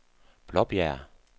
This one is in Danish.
Blåbjerg